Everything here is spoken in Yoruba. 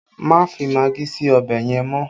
Má fi magí sí ọbẹ̀ yẹn mọ́!